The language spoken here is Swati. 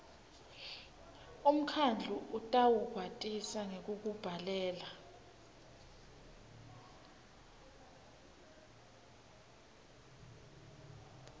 umkhandlu utawukwatisa ngekukubhalela